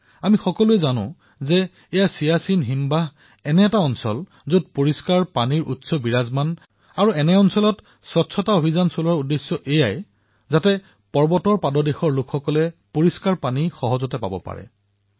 আমি সকলোৱে জানো যে এই চিয়াছিন এনে এক শৃংগ যত নদী আৰু স্বচ্ছ পানীৰ উৎস আছে আৰু ইয়াত স্বচ্ছ অভিযান পালন কৰা মানে নামনিৰ অঞ্চলত থকা লোকসকলৰ বাবে স্বচ্ছ জলৰ উপলব্ধতা সুনিশ্চিত কৰা